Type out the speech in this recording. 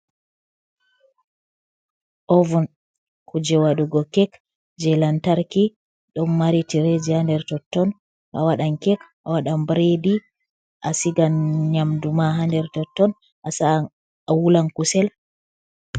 Ovun kuje waɗugo kek jey lantarki, ɗon mari tireeji haa nder totton. A waɗan kek, a waɗan biredi, a sigan nyamdu ma haa nder totton, a wulan kusel.